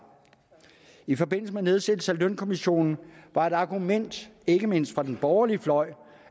i forbindelse med nedsættelsen af lønkommissionen var et argument ikke mindst fra den borgerlige fløj